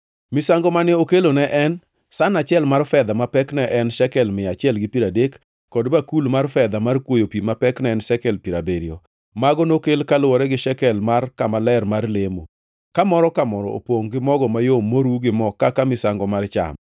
Misango mane okelo ne en san achiel mar fedha ma pekne ne en shekel mia achiel gi piero adek, kod bakul mar fedha mar kwoyo pi ma pekne ne en shekel piero abiriyo. Mago nokel kaluwore gi shekel mar kama ler mar lemo, ka moro ka moro opongʼ gi mogo mayom moru gi mo kaka misango mar cham;